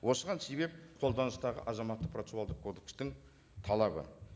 осыған себеп қолданыстағы азаматтық процессуалдық кодекстің талабы